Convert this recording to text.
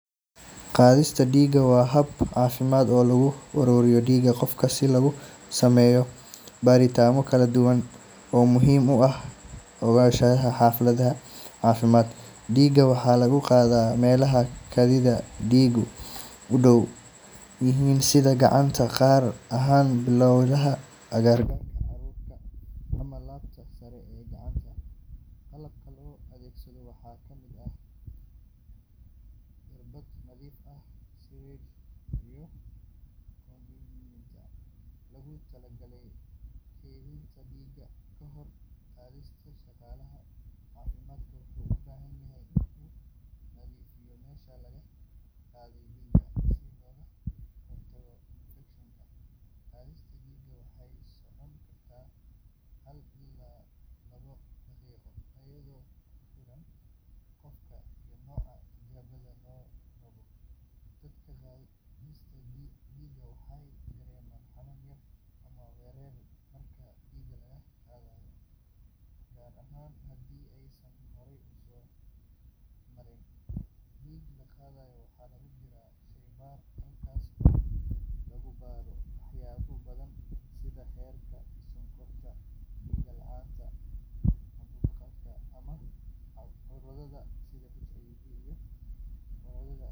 Qaadista dhiigga waa hab caafimaad oo lagu ururiyo dhiig qofka si loogu sameeyo baaritaanno kala duwan oo muhiim u ah ogaanshaha xaaladda caafimaad. Dhiigga waxaa laga qaadaa meelaha xididdada dhiiggu u dhow yihiin sida gacanta, gaar ahaan halbowlaha agagaarka curcurka ama laabta sare ee gacanta. Qalabka loo adeegsado waxaa ka mid ah irbad nadiif ah, syringe, iyo vacutainer loogu talagalay kaydinta dhiigga. Kahor qaadista, shaqaalaha caafimaadka wuxuu u baahan yahay in uu nadiifiyo meesha laga qaadayo dhiigga si looga hortago infekshan. Qaadista dhiigga waxay socon kartaa hal ilaa labo daqiiqo iyadoo ku xiran qofka iyo nooca tijaabada la rabo. Dadka qaarkiis waxay dareemaan xanuun yar ama wareer marka dhiig laga qaadayo, gaar ahaan haddii aysan horey u soo marin. Dhiigga la qaado waxaa loo diraa sheybaar halkaas oo lagu baaro waxyaabo badan sida heerka sonkorta, dhiig la’aanta, caabuqyada, ama cudurrada sida.